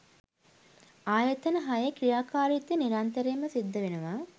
ආයතන හයේ ක්‍රියාකාරීත්වය නිරන්තරයෙන්ම සිද්ධවෙනවා.